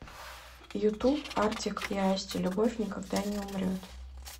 ютуб артик и асти любовь никогда не умрет